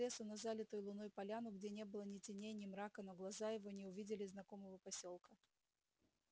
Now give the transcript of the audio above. он выбежал из лесу на залитую луной поляну где не было ни теней ни мрака но глаза его не увидели знакомого посёлка